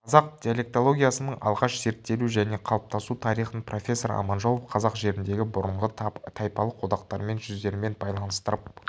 қазақ диалектологиясының алғаш зерттелу және қалыптасу тарихын профессор аманжолов қазақ жеріндегі бұрынғы тайпалық одақтармен жүздермен байланыстырып